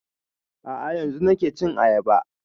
A'a yanzun nake cin ayaba